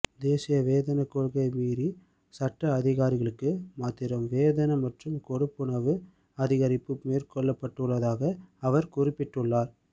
தேசிய வேதன கொள்கைளை மீறி சட்ட அதிகாரிகளுக்கு மாத்திரம் வேதன மற்றும் கொடுப்பனவு அதிகரிப்பு மேற்கொள்ளப்பட்டுள்ளதாக அவர் குறிபிபிட்டுள்ளார்